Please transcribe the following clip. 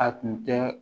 A tun tɛ